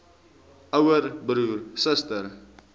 ouer broer suster